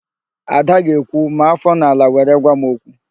Ada ga-ekwu, "maa áfọ n'ala were gwa m okwu"!